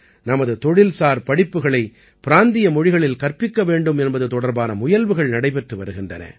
நமது தொழில்சார் படிப்புகளை பிராந்திய மொழிகளில் கற்பிக்க வேண்டும் என்பது தொடர்பான முயல்வுகள் நடைபெற்று வருகின்றன